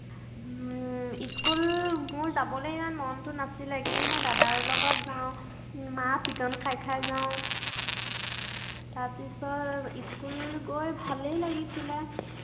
উম school মোৰ যাবলে মনটো নাছিলে। কিন্তু মই দাদাৰ লগত যাওঁ। মাৰ পিটন খাই খাই যাওঁ। তাৰপিছত school গৈ ভালেই লাগিছিলে।